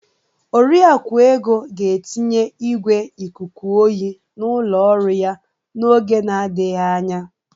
Oriakụ Ego ga-etinye igwé ikuku oyi n'ụlọ ọrụ ya n'oge na-adịghị anya.